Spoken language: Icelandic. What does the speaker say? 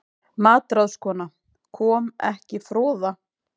MATRÁÐSKONA: Kom ekki froða?